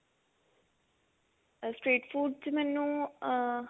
street food ਚ ਮੈਨੂੰ ਅਹ